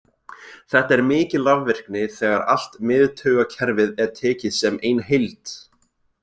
Þetta er mikil rafvirkni þegar allt miðtaugakerfið er tekið sem ein heild.